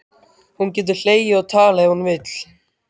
Hún getur hlegið og talað ef hún vill.